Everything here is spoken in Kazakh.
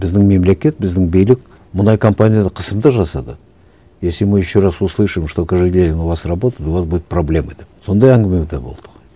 біздің мемлекет біздің билік мұнай компанияда қысым да жасады если мы еще раз услышим что кажегельдин у вас работает у вас будут проблемы деп сондай әңгіме де болды ғой